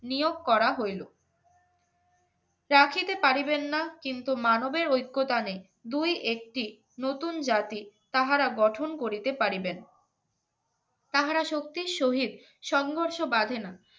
নিয়োগ করা হইল চা খেতে পারিবেন না কিন্তু মানবের ঐক্যতা নেই দুই একটি নতুন জাতি তাহারা গঠন করিতে পারিবেন তাহারা সত্যি শহীদ সংঘর্ষ বাধেনা